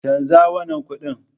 Canza wannan kuɗin.